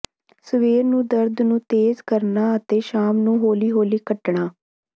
ਸਵੇਰ ਨੂੰ ਦਰਦ ਨੂੰ ਤੇਜ਼ ਕਰਨਾ ਅਤੇ ਸ਼ਾਮ ਨੂੰ ਹੌਲੀ ਹੌਲੀ ਘਟਣਾ